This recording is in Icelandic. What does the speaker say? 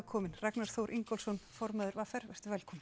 komin Ragnar Þór Ingólfsson formaður v r velkominn